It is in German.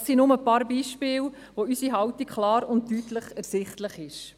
Dies sind nur ein paar Beispiele, aufgrund derer unsere Haltung klar und deutlich ersichtlich ist.